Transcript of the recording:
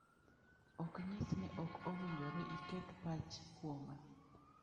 Ok nyis ni ok owinjore iket pach kuoma.